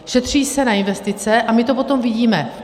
Šetří se na investice a my to potom vidíme.